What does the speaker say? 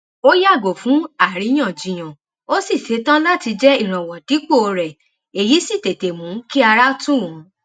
ó yàgò fún àríyàjiyàn ó sí ṣetán láti jẹ ìrànwọ dípò rẹ èyí sì tètè mú kí ara tù wón